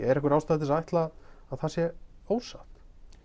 er einhver ástæða til að ætla að það sé ósatt